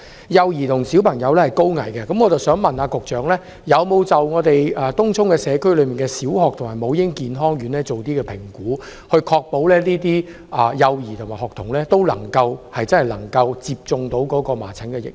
幼兒及小朋友是高危人士，我想問局長有否就東涌社區內的小學及母嬰健康院作出評估，以確保幼兒及學童能夠接種麻疹疫苗？